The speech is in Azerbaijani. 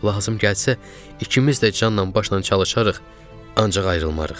Lazım gəlsə ikimiz də canla başla çalışarıq, ancaq ayrılmarıq.